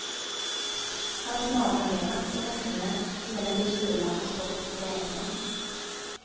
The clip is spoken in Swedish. Hans mardröm är massor med snö, eländig kyla och stopp på vägarna.